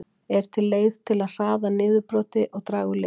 Er til leið til að hraða niðurbroti og draga úr lykt?